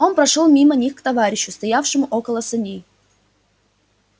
он прошёл мимо них к товарищу стоявшему около саней